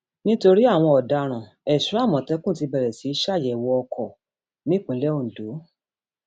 nítorí àwọn ọdaràn èso àmọtẹkùn ti bẹrẹ sí í ṣàyẹwò ọkọ nípìnlẹ ọkọ nípìnlẹ ondo